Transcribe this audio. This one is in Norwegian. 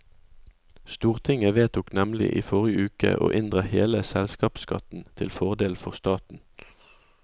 Stortinget vedtok nemlig i forrige uke å inndra hele selskapsskatten til fordel for staten.